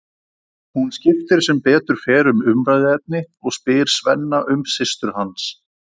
Hún skiptir sem betur fer um umræðuefni og spyr Svenna um systur hans.